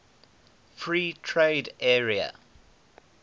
free trade area